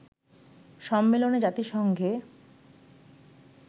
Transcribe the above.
সম্মেলনে জাতিসংঘে